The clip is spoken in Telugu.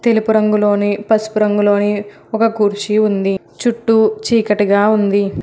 తెలుపు రంగులోని పసుపు రంగులోని ఒక కుర్చీ ఉంది చుట్టూ చీకటిగా ఉంది.